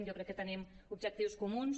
jo crec que tenim objectius comuns